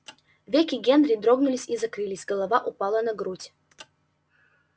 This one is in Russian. веки генри дрогнули и закрылись голова упала на грудь